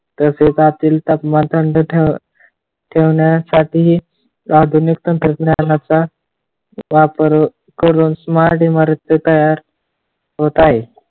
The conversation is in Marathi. तसेच आतील तापमान थंड ठेवा ठेवण्यासाठी आधुनिक तंत्रज्ञानाचा वापर करून smart इमारतचा तयार होत आहे.